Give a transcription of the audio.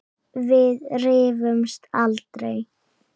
Við rifumst aldrei.